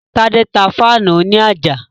Tádé tá fáànù òní àjà